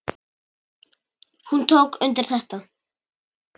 Hún tók undir þetta.